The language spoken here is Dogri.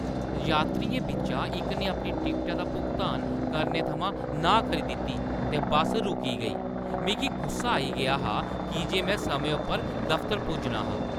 यात्रियें बिच्चा इक ने अपनी टिकटा दा भुगतान करने थमां नांह् करी दित्ती ते बस्स रुकी गेई। मिगी गुस्सा आई गेआ हा की जे में समें उप्पर दफतर पुज्जना हा।